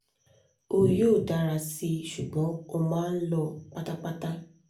o yoo dara si ṣugbọn o maa n lọ patapata